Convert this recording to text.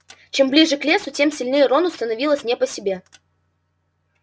чем ближе к лесу тем сильнее рону становилось не по себе